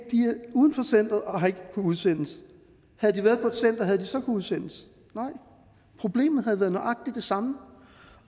uden for centeret og har ikke kunnet udsendes havde de været på et center havde de så udsendes nej problemet havde været nøjagtig det samme